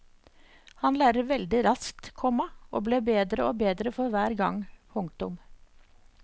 Han lærer veldig raskt, komma og ble bedre og bedre for hver gang. punktum